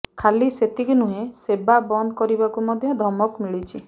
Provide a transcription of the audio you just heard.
ଖାଲି ସେତିକି ନୁହେଁ ସେବା ବନ୍ଦ କରିବାକୁ ମଧ୍ୟ ଧମକ ମିଳିଛି